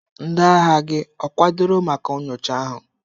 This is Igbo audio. Ndị agha gị ọ kwadoro maka nyocha ahụ?